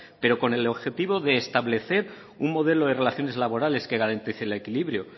pero con el objetivo de establecer un modelo de relaciones laborales que garantice el equilibrio